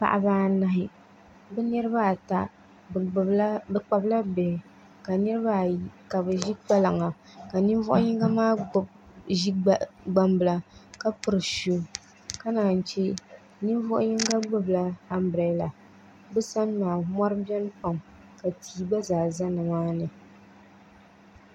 Paɣaba anahi bi niraba ata bi kpabila bihi ka niraba ayi ka bi ʒi kpalaŋa ka ninvuɣu yinga maa ʒi gbambila ka piri shuu ka naan chɛ ninvuɣu yinga gbubila anbirɛla bi sani maa mɔri biɛni pam ka tia gba zaa bɛ nimaani